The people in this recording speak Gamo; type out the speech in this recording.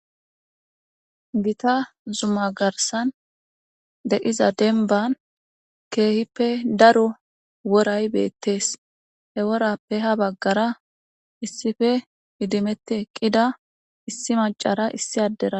Gita zuma garssan diza woray beetees ha woraza lanqqen issipe idimeti eqqida issi maccaranne issi addera detes.